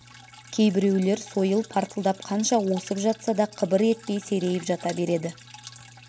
кейбіреулер сойыл партылдап қанша осып жатса да қыбыр етпей серейіп жата береді